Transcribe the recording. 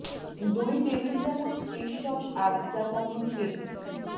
দুই টেবিল চামচ fish sauce আধ চা চামচ চিনি